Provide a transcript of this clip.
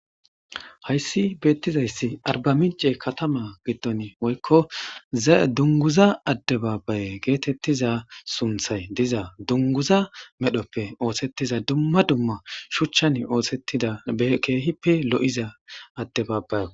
Hayssi beettizayssi arba mince katama gidton woykko dunguza addebaabaye geetettiza sunthay diza dunguza medhoppe oosettiza dumma dumma shuchchan oosetida keehippe lo'iza addebaabaye